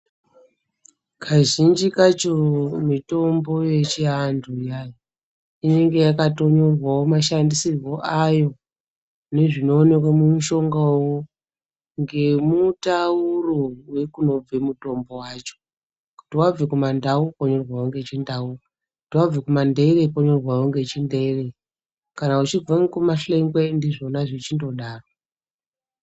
Kazhinji kacho mitombo yechantu iyani inenge yakatonyorwawo mashandisirwo ayo nezvinoonekwa mumushonga uyu ngemutauro wekunobve mutombo wacho kana wabva kumandau wonyorwawo ngechindau kuti wabva kumandeere wonyorwawo ngechindeere kana uchibva ngekumahlengwe ndizvona zvechindodaro.